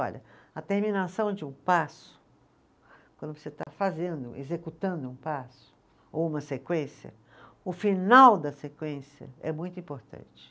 Olha, a terminação de um passo, quando você está fazendo, executando um passo, ou uma sequência, o final da sequência é muito importante.